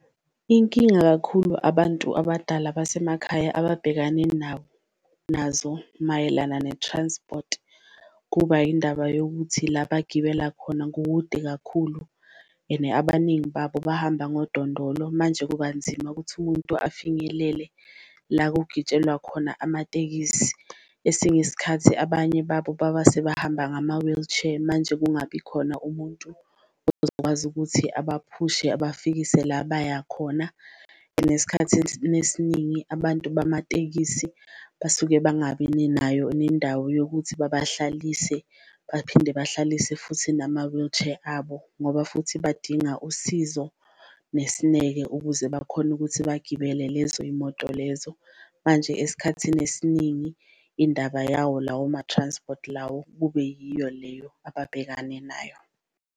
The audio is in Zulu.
Inkinga kakhulu abantu abadala basemakhaya ababhekane nawo nazo mayelana ne-transport kuba yindaba yokuthi la bagibela khona kukude kakhulu, and abaningi babo bahamba ngodondolo. Manje kuba nzima ukuthi umuntu afinyelele la kugitshelwa khona amatekisi, esinye isikhathi abanye babo baba sebahamba ngama-wheelchair, manje kungabi khona umuntu ozokwazi ukuthi abaphushe abafikile la baya khona. And esikhathini abantu bamatekisi basuke bangabi nayo nendawo yokuthi babahlalise, baphinde bahlalise futhi nama-wheelchair abo ngoba futhi badinga usizo nesineke ukuze bakhone ukuthi bagibele lezo yimoto lezo. Manje esikhathini esiningi indaba yawo lawo ma-transport lawo kube yiyo leyo ababhekane nayo.